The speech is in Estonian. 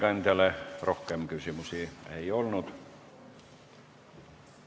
Ettekandjale rohkem küsimusi ei ole.